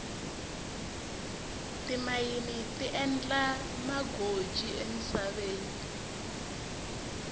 timayini ti endla magoji emisaveni